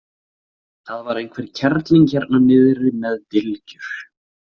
Það var einhver kerling hérna niðri með dylgjur.